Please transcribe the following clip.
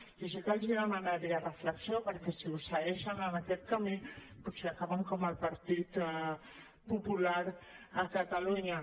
jo sí que els demanaria reflexió perquè si segueixen en aquest camí potser acaben com el partit popular a catalunya